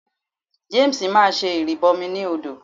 James máa ṣe ìrìbọmi ní odò.